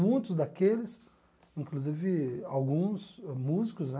Muitos daqueles, inclusive alguns músicos, né?